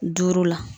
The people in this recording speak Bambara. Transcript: Duuru la